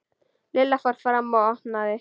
Lilla fór fram og opnaði.